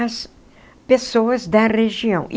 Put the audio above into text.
as pessoas da região.